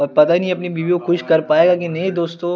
अब पता नही अपनी बीवी को खुस कर पायेगा की नही दोस्तों--